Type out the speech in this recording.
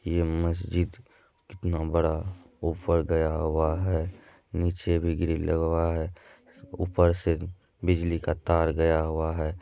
ये मस्जिद कितना बड़ा गया हुआ है नीचे भी ग्रिल लगवा है ऊपर से बिजली का तार गया हुआ है।